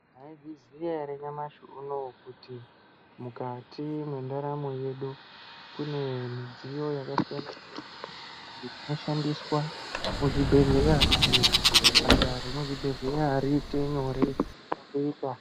Maizviziya ere nyamashi unowu kuti mukati mwendaramo yedu kune midziyo yakasiyana siyana inoshandiswa muzvibhedhlera kuti basa remuzvibhedhlera riite nyore pakuita.